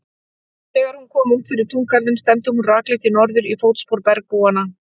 Þegar hún kom út fyrir túngarðinn stefndi hún rakleitt í norður, í fótspor bergbúanna.